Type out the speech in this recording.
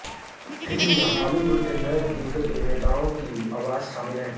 film में Hollywood के कई दिग्गज अभिनेताओं की आवाज़ शामिल है